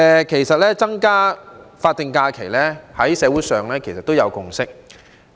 其實，增加法定假日在社會上已有共識。